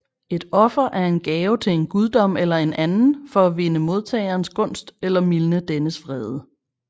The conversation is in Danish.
Et offer er en gave til en guddom eller en anden for at vinde modtagerens gunst eller mildne dennes vrede